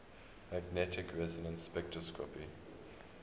magnetic resonance spectroscopy